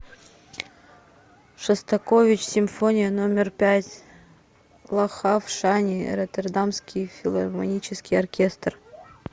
шостакович симфония номер пять лахав шани роттердамский филармонический оркестр